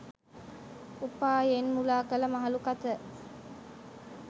උපායෙන් මුළා කළ මහලු කත